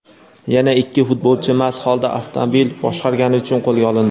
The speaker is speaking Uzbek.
Yana ikki futbolchi mast holda avtomobil boshqargani uchun qo‘lga olindi.